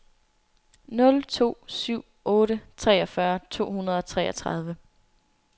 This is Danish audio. nul to syv otte treogfyrre to hundrede og treogtredive